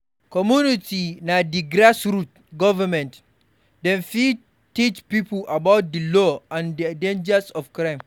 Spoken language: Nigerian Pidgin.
Commumity na di grass root government, dem fit teach pipo about di law and di dangers of crime